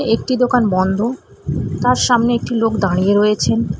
একটি দোকান বন্ধ তার সামনে একটি লোক দাঁড়িয়ে রয়েছেন।